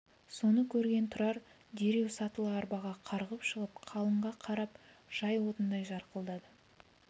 соны көрген тұрар дереу сатылы арбаға қарғып шығып қалыңға қарап жай отындай жарқылдады